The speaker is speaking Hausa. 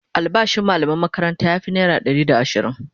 albashin mallaman makaranta ya Fi naira Ɗari da ashirin